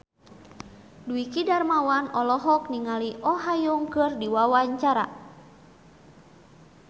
Dwiki Darmawan olohok ningali Oh Ha Young keur diwawancara